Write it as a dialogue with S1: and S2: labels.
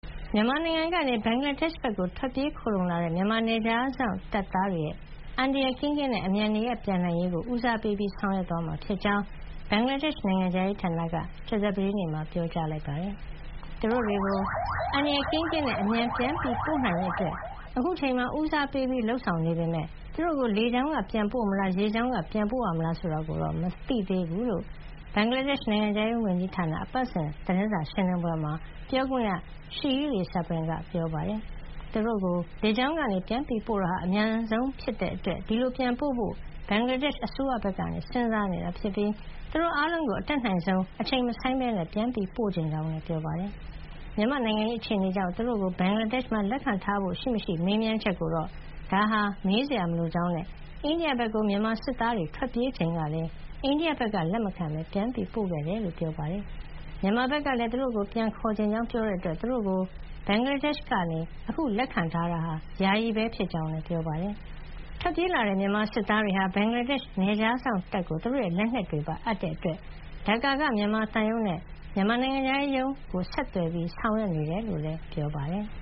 S1: မြန်မာနိုင်ငံကနေ ဘင်္ဂလားဒေ့ရှ်ဘက် ထွက်ပြေးခိုလှုံလာတဲ့ မြန်မာ နယ်ခြားစောင့်တပ်သားတွေ အန္တရာယ်ကင်းကင်းနဲ့ အမြန်နေရပ်ပြန်နိုင်ရေးကို ဦးစားပေးဆောင်ရွက်သွားမှာဖြစ်ကြောင်း ဘင်္ဂလားဒေ့ရှ် နိုင်ငံခြားရေးဌာနက ကြာသပတေးနေ့မှာ ပြောပါတယ်။ သူတို့တွေကို အန္တရာယ်ကင်းကင်းနဲ့ အမြန်ပြန်ပို့နိုင်ရေးအတွက် အခုအချိန်မှာ ဦးစားပေးလုပ်ဆောင်နေပေမယ့် သူတို့ကိုလေကြောင်းက ပြန်ပို့မလား၊ ရေကြောင်းကနေပြန်ပို့ရမလားဆိုတာကိုတော့ မသိသေးကြောင်း ဘင်္ဂလားဒေ့ရှ် နိုင်ငံခြားရေးဝန်ကြီးဌာန အပတ်စဉ် သတင်းစာရှင်းလင်းပွဲမှာ ပြောခွင့်ရ Seheli Sabrin က ပြောပါတယ်။ သူတို့ကို လေကြောင်းကနေ ပြန်ပို့တာဟာ အမြန်ဆုံးဖြစ်တာကြောင့် ဒီလိုပြန်ပို့ဖို့ ဘင်္ဂလားဒေ့ရှ် အစိုးရဘက်က စဉ်းစားနေတာဖြစ်ပြီး သူတို့အားလုံးကို အတတ်နိုင်ဆုံး အချိန်မဆိုင်းဘဲ ပြန်ပို့ချင်ကြောင်းလည်း ပြောပါတယ်။ မြန်မာ့နိုင်ငံရေးအခြေနေကြောင့် သူတို့ကို ဘင်္ဂလားဒေ့ရှ်မှာလက်ခံထားဖို့ ရှိမရှိ မေးမြန်းချက်ကိုတော့ ဒါဟာ မေးစရာမလိုကြောင်းနဲ့ အိန္ဒိယဘက်ကို မြန်မာစစ်သားတွေ ထွက်ပြေးချိန်ကလည်း အိန္ဒိယကလက်မခံဘဲ ပြန်ပို့ခဲ့ကြောင်း ပြောပါတယ်။ မြန်မာဘက်ကလည်း သူတို့ကို ပြန်ခေါ်ချင်ကြောင်း ပြောတဲ့အတွက် သူတို့ကို ဘင်္ဂလားဒေ့ရှ်က အခုလက်ခံထားတာဟာ ယာယီပဲ ဖြစ်ကြောင်း ပြောပါတယ်။ ထွက်ပြေးလာတဲ့ မြန်မာစစ်သားတွေက ဘင်္ဂလားဒေ့ရှ်နယ်ခြားစောင့် တပ်ကို သူတို့ရဲ့လက်နက်တွေပါအပ်တာကြောင့် ဒက္ကာက မြန်မာသံရုံးနဲ့ မြန်မာနိုင်ငံခြားရေးရုံးကို ဆက်သွယ်ဆောင်ရွက်နေတယ်လို့လည်း ပြောပါတယ်။